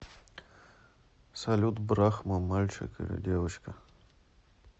салют брахма мальчик или девочка